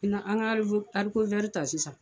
I n an ka arikowɛri ta sisan